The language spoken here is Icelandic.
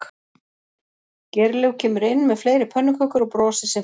Geirlaug kemur inn með fleiri pönnukökur og brosir sem fyrr